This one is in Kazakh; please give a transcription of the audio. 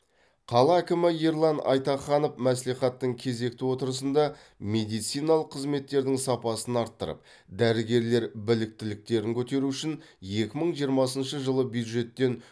қала әкімі ерлан айтаханов мәслихаттың кезекті отырысында медициналық қызметтердің сапасын арттырып дәрігерлер біліктіліктерін көтеру үшін екі мың жиырмасыншы жылы бюджеттен